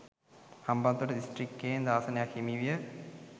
හම්බන්තොට දිස්ත්‍රික්කයෙන් ආසනක් ද හිමිවිය